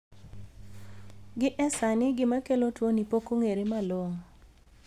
Gi esani gima kelo tuoni pok ong'ere malong'o.